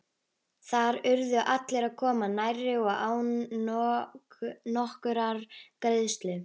Þar urðu allir að koma nærri og án nokkurrar greiðslu.